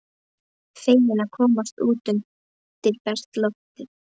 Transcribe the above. Feginn að komast út undir bert loft.